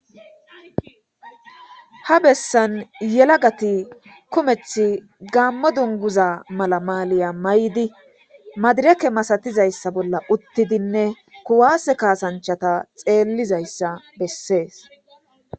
Ha bessan yelagati kometha gammo dunguza mala maaliya may7di madireke masatizayssa bolla uttidinne kuwaase kaasanchata xeellizayssa bessees